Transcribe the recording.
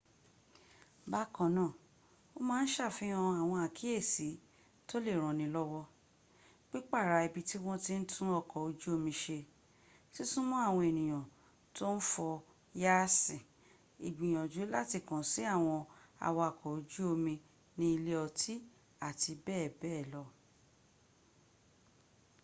bákanáà o ma ṣàfihàn àwọn àkíyèsí tó lè ranilọ́wọ́ pípàrà ibi tí wọ́n ti ń tún ọkọ̀ ojú omi ṣe sísúma àwọn ènìyàn tó ń fo yáàṣì ńgbìyànjú láti kàn sí àwọn awaks ojú omi ní ilé ọtí. àti bẹ́ẹ̀bẹ́ẹ̀ lọ